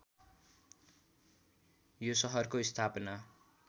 यो सहरको स्थापना